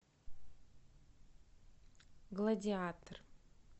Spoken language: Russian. гладиатор